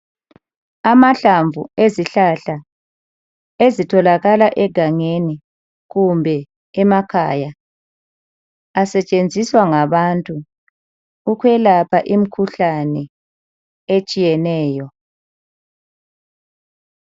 Amahlamvu ezihlahla ezitholakala egangeni kumbe emakhaya asetshenziswa ngabantu ukwelapha imkhuhlane etshiyeneyo.